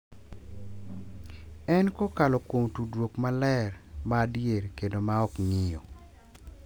En kokalo kuom tudruok maler, ma adier kendo ma ok ng’iyo.